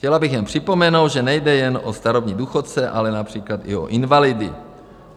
Chtěla bych jen připomenout, že nejde jen o starobní důchodce, ale například i o invalidy.